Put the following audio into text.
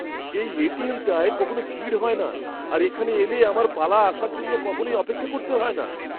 এই এটিএম টায় কখনও ভিড় হয় না আর এখানে এলে আমার পালা আসার জন্য কখনোই অপেক্ষা করতে হয় না।